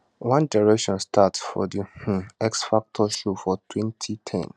one direction start for di um x factor show for 2010